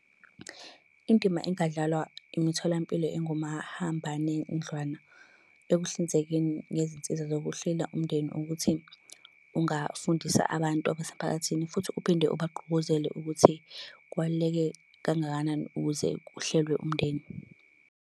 Indima engadlawa imitholampilo engomahambanendlwana ekuhlinzekeni ngezinsiza zokuhlela umndeni ukuthi, ungafundisa abantu abasemphakathini futhi uphinde ubagqugquzela ukuthi kubaluleke kangakanani ukuze kuhlelwe umndeni.